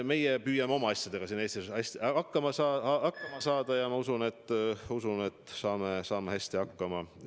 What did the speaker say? Meie püüame oma asjadega siin Eestis hästi hakkama saada ja ma usun, et saame hästi hakkama.